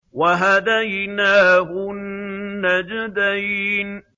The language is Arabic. وَهَدَيْنَاهُ النَّجْدَيْنِ